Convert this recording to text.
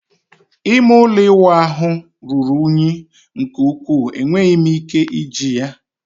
ime ụlọ ịwụ ahụ ruru unyi nke ukwuu, enweghị m ike iji ya